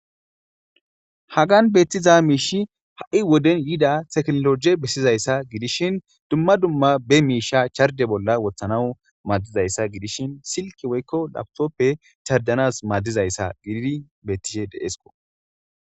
Hagan beettiza miishi ha'i woden yida teknologe bessizayssa gidishin dumma dumma be miisha charde bolla wothanaw maaddizayssa gidishin silki woykko lawtoppe chardanas maaddizayssa gididi bettishe deesko.